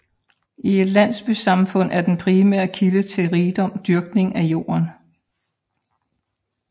I et landbrugssamfund er den primære kilde til rigdom dyrkning af jorden